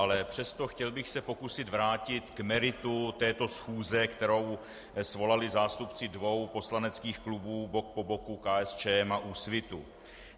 Ale přesto, chtěl bych se pokusit vrátit k meritu této schůze, kterou svolali zástupci dvou poslaneckých klubů bok po boku, KSČM a Úsvitu.